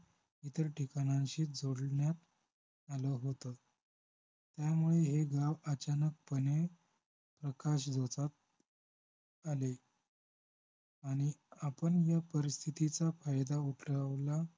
इतर ठिकाणांशी जोडण्यात आलं होतं त्यामुळं हे गाव अचानकपणे आकाशगोतात आले आणि आपण या परिस्थितीचा फायदा उठवला